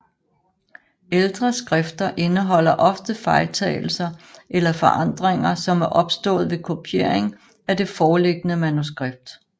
Ældre skrifter indeholder ofte fejltagelser eller forandringer som er opstået ved kopiering af det foreliggende manuskript